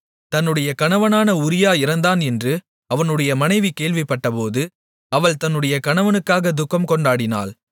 தன்னுடைய கணவனான உரியா இறந்தான் என்று அவனுடைய மனைவி கேள்விப்பட்டபோது அவள் தன்னுடைய கணவனுக்காக துக்கம் கொண்டாடினாள்